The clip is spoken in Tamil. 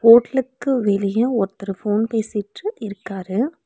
ஹோட்டலுக்கு வெளிய ஒருத்தர் ஃபோன் பேசிட்டு இருக்காரு.